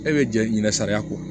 E bɛ jɛ ɲinɛ sariya kɔ